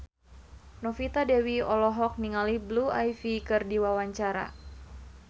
Novita Dewi olohok ningali Blue Ivy keur diwawancara